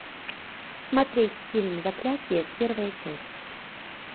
смотреть фильм заклятие первая часть